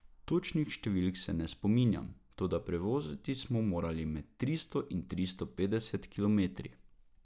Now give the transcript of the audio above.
Točnih številk se ne spominjam, toda prevoziti smo morali med tristo in tristo petdeset kilometri.